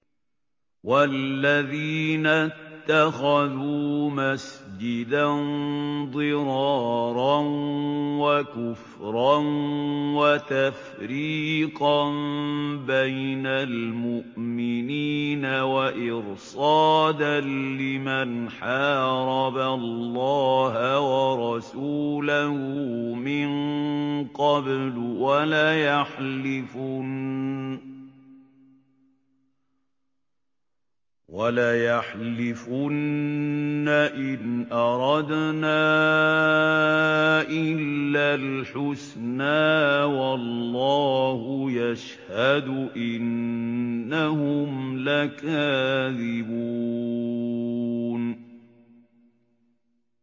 وَالَّذِينَ اتَّخَذُوا مَسْجِدًا ضِرَارًا وَكُفْرًا وَتَفْرِيقًا بَيْنَ الْمُؤْمِنِينَ وَإِرْصَادًا لِّمَنْ حَارَبَ اللَّهَ وَرَسُولَهُ مِن قَبْلُ ۚ وَلَيَحْلِفُنَّ إِنْ أَرَدْنَا إِلَّا الْحُسْنَىٰ ۖ وَاللَّهُ يَشْهَدُ إِنَّهُمْ لَكَاذِبُونَ